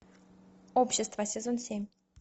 общество сезон семь